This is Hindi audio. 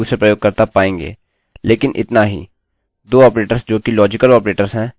दो ऑपरेटर्स जो कि लाजिकल ऑपरेटर्स हैं